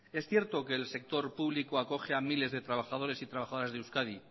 es cierto que el sector público acoge a miles de trabajadores y trabajadoras de euskadi